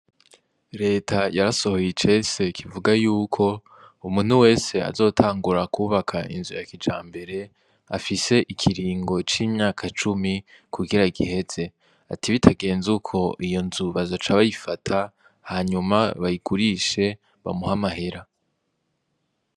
Reta yarasohoye icese kivuga yuko umuntu wese azotangura kwubaka inzu ya kijambere afise ikiringo cimyaka cumi kugira agiheze ati bitangeze uko iyo nzu bazoca bayifata hanyuma bayigurishe bamuhe amahera.